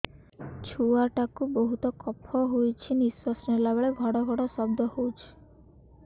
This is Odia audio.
ଛୁଆ ଟା କୁ ବହୁତ କଫ ହୋଇଛି ନିଶ୍ୱାସ ନେଲା ବେଳେ ଘଡ ଘଡ ଶବ୍ଦ ହଉଛି